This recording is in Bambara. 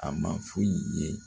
A ma foyi ye